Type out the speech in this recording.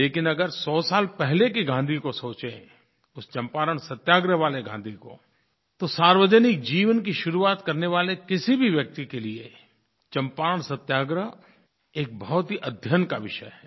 लेकिन अगर सौ साल पहले के गाँधी को सोचें उस चंपारण सत्याग्रह वाले गाँधी को तो सार्वजनिक जीवन की शुरुआत करने वाले किसी भी व्यक्ति के लिए चंपारण सत्याग्रह एक बहुत ही अध्ययन का विषय है